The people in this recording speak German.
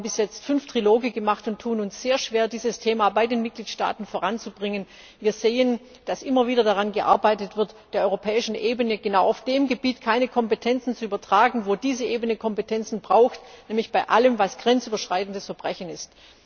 Wir haben bis jetzt fünf Triloge gemacht und tun uns sehr schwer, dieses Thema bei den Mitgliedstaaten voranzubringen. Wir sehen, dass immer wieder daran gearbeitet wird, der europäischen Ebene genau auf dem Gebiet keine Kompetenzen zu übertragen, wo diese Ebene Kompetenzen braucht, nämlich bei allem, was grenzüberschreitendes Verbrechen ist.